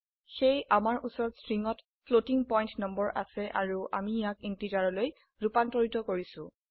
সেয়ে আমাৰ উচৰত স্ট্ৰিংত ফ্লোটিং পয়েন্ট নম্বৰ আছে আৰু আমি ইয়াক ইন্টিজাৰলৈ ৰুপান্তৰিত কৰিছো